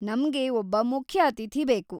ನಮ್ಗೆ ಒಬ್ಬ ಮುಖ್ಯ ಅತಿಥಿ ಬೇಕು.